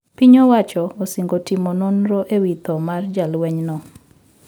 Piny owacho osingo timo nondro e wi thoo mar jalweny no